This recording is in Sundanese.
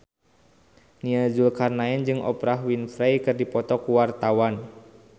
Nia Zulkarnaen jeung Oprah Winfrey keur dipoto ku wartawan